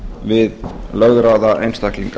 við lögráða einstaklinga